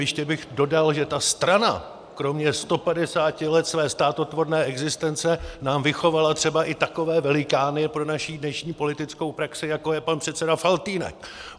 Ještě bych dodal, že ta strana kromě 150 let své státotvorné existence nám vychovala třeba i takové velikány pro naši dnešní politickou praxi, jako je pan předseda Faltýnek.